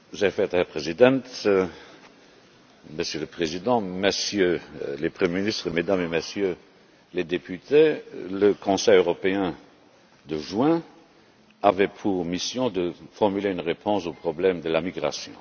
Monsieur le Président, Monsieur le Président, Messieurs les Premiers ministres, Mesdames et Messieurs les Députés, le Conseil européen de juin avait pour mission de formuler une réponse au problème de la migration.